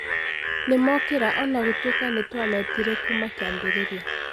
Nĩ mokĩra o na gũtuĩka nĩ twametire kuuma kĩambĩrĩria .